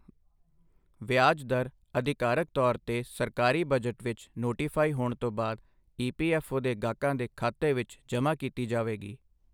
ਵਿਆਜ ਦਰ ਅਧਿਕਾਰਤ ਤੌਰ ਤੇ ਸਰਕਾਰੀ ਬਜਟ ਵਿਚ ਨੋਟੀਫਾਈ ਹੋਣ ਤੋਂ ਬਾਅਦ ਈਪੀਐਫਓ ਦੇ ਗਾਹਕਾਂ ਦੇ ਖਾਤੇ ਵਿੱਚ ਜਮਾ ਕੀਤੀ ਜਾਵੇਗੀ।